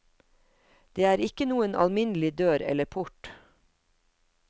Det er ikke noen alminnelig dør eller port.